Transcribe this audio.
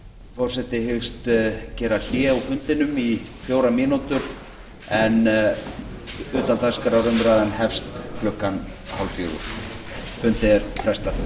forseti hyggst gera hlé á fundinum í fjórar mínútur en utandagskrárumræðan hefst klukkan fimmtán þrjátíu fundarhlé